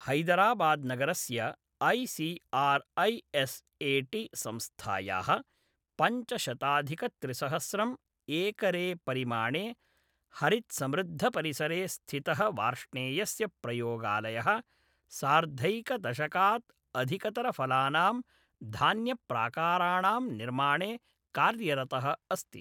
हैदराबाद्नगरस्य I C R I S A T संस्थायाः पञ्चशताधिकत्रिसहस्रम् एकरेपरिमाणे हरित्समृद्धपरिसरे स्थितः वार्ष्णेयस्य प्रयोगालयः, सार्धैकदशकात् अधिकतरफलानां धान्यप्राकाराणां निर्माणे कार्यरतः अस्ति।